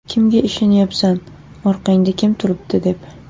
Kimga ishonyapsan, orqangda kim turibdi?’ deb.